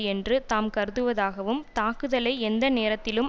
என்று தாம் கருதுவதாகவும் தாக்குதலை எந்த நேரத்திலும்